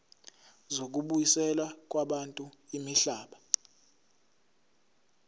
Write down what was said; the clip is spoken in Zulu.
zokubuyiselwa kwabantu imihlaba